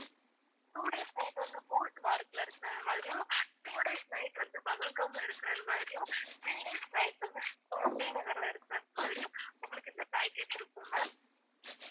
two days night வந்து குல்மார்க்ல இருக்கிறது மாதிரியும் two days night வந்து பகல்காம்ல இருக்கிறது மாதிரியும் three days night வந்து ஸ்ரீநகர்ல இருக்கிறது மாதிரியும் உங்களுக்கு இந்த package இருக்கும் ma'am